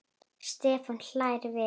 Stefán hlær við.